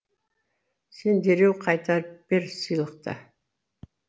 сен дереу қайтарып бер сыйлықты